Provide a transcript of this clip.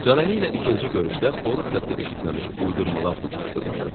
Canəli ilə ikinci görüşdə xoruz səsi eşitməmiş uydurmalar toqquşdurmuşdum.